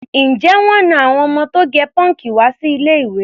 Ǹjẹ́ wọ́n na àwọn ọmọ tó gẹ pọ́ǹkì wá sí ilé-ìwé?